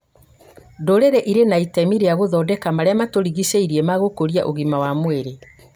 dũrĩrĩ ĩrĩ na itemi rĩa gũthondeka marĩa matũrigicĩirie megũkũria ũgima wa mwĩrĩ